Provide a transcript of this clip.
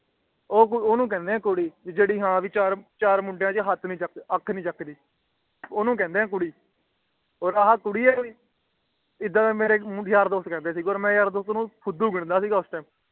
ਓਹਨੂੰ ਕਹਿੰਦੇ ਆ ਕੁੜੀ ਕਿ ਜੇਦੀ ਹੈ ਚਾਰਵ ਮੁੰਡਿਆਂ ਛੇ ਆਖ ਨੀ ਚਕਦੀ ਓਹਨੂੰ ਕਹਿੰਦੇ ਆ ਕੁੜੀ ਓਰ ਕੁੜੀ ਹੈ ਕੋਈ ਓਰ ਇੱਦਾ ਦੇ ਮੇਰੇ ਯਾਰ ਦੋਸਤ ਕਹਿੰਦੇ ਸੀਗੇ ਓਰ ਮਈ ਯਾਰ ਦੋਸਤ ਨੂੰ ਫੁੱਦੂ ਗਿਣਦਾ ਸੀਗਾ ਓਇੱਸ